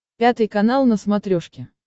пятый канал на смотрешке